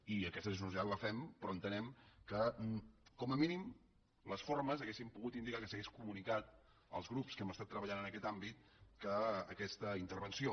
i aquesta generositat la fem però entenem que com a mínim les formes haurien pogut indicar que s’hagués comunicat als grups que hem estat treballant en aquest àmbit aquesta intervenció